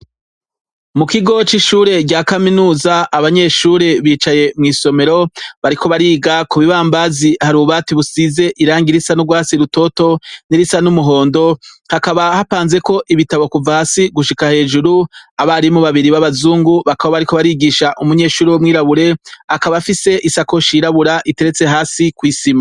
Mukigo cishure rya kaminuza abanyeshure bicaye mwisomero bariko bariga kubibambazi hari ububati busize irangi risa nurwatsi rutoto nirisa n'umuhondo hakaba hapanzeko ibitabo kuva hasi gushika hejuru, abarimu babiri babazungu bakaba bariko barigisha umunyeshure wumwirabure akaba afise isakoshi yirabura iteretse hasi kwisima.